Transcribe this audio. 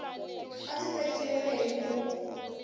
a ndzi tekiwile hi mulungu